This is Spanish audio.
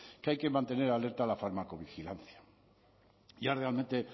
que hay que mantener alerta la farmacovigilancia ya realmente